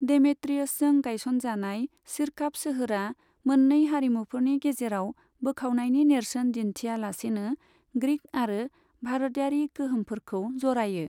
डेमेट्रियसजों गायस'नजानाय सिरकाप सोहोरा मोन्नै हारिमुफोरनि गेजेराव बोखावनायनि नेरसोन दिन्थिया लासेनो ग्रिक आरो भारतयारि गोहोमफोरखौ जरायो।